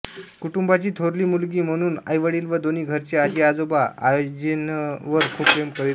कुटुंबाची थोरली मुलगी म्हणून आईवडील व दोन्ही घरचे आजी आजोबा आयजेनवर खूप प्रेम करीत असत